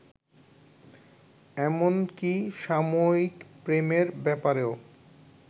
এমনকি সাময়িক প্রেমের ব্যাপারেও